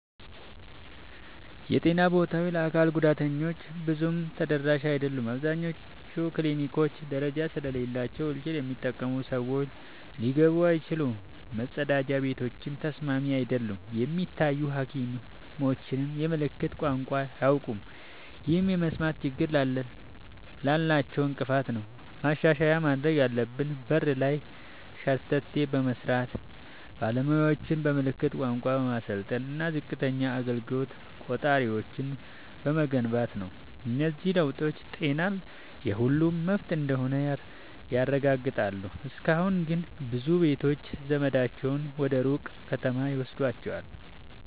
የጤና ቦታዎች ለአካል ጉዳተኞች ብዙም ተደራሽ አይደሉም። አብዛኞቹ ክሊኒኮች ደረጃ ስላላቸው ዊልቸር የሚጠቀሙ ሰዎች ሊገቡ አይችሉም፤ መጸዳጃ ቤቶችም ተስማሚ አይደሉም። የሚታዩ ሐኪሞችም የምልክት ቋንቋ አያውቁም፣ ይህም የመስማት ችግር ላላቸው እንቅፋት ነው። ማሻሻያ ማድረግ ያለብን በር ላይ ሸርተቴ በመስራት፣ ባለሙያዎችን በምልክት ቋንቋ በማሰልጠን እና ዝቅተኛ አገልግሎት ቆጣሪዎችን በመገንባት ነው። እነዚህ ለውጦች ጤና የሁሉም መብት እንደሆነ ያረጋግጣሉ። እስካሁን ግን ብዙ ቤተሰቦች ዘመዳቸውን ወደ ሩቅ ከተማ ይወስዷቸዋል።